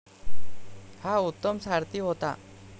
हा उत्तम सारथी होता.